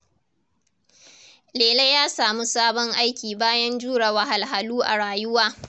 Lele ya samu sabon aiki bayan jure wahalhalu a rayuwa.